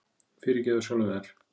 Fyrirgefðu sjálfum þér.